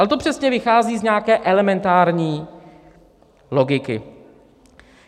Ale to přesně vychází z nějaké elementární logiky.